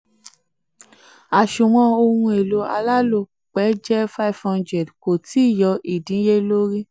two àsunwon ohun èlò alálòpẹ́ jẹ́ five hundred kò tíì yọ ìdínniyẹlórí.